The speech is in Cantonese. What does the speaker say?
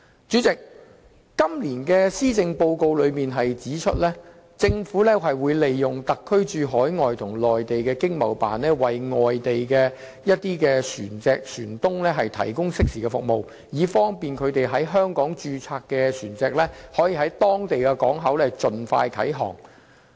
主席，今年的施政報告指出，政府會利用特區駐海外和內地的經濟貿易辦事處為外地船東提供適時的服務，以便他們在香港註冊的船隻可盡快啟航。